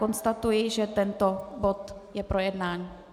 Konstatuji, že tento bod je projednán.